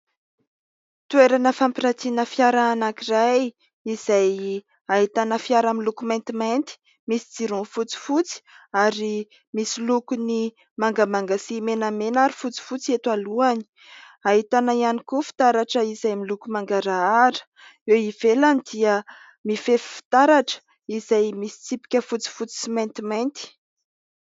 Toerana fampirantiana fiara anankiray izay ahitana fiara miloko maintimainty, misy jirony fotsifotsy ary misy lokony mangamanga sy menamena ary fotsifotsy eto alohany ; ahitana ihany koa fitaratra izay miloko mangarahara. Eo ivelany dia mifefy fitaratra izay misy tsipika fotsifotsy sy maintimainty.